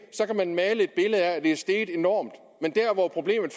kan man male et billede af at det er steget enormt men der hvor problemet